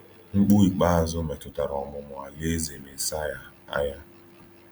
Mkpu ikpeazụ metụtara ọmụmụ Alaeze Mesaya aya.